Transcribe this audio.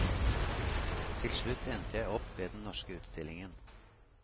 Til slutt endte jeg opp ved den norske utstillingen.